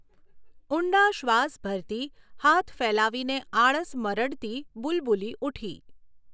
ઊંડા શ્વાસ ભરતી, હાથ ફેલાવીને આળસ મરડતી બુલબુલી ઊઠી.